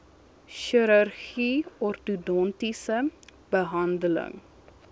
chirurgie ortodontiese behandeling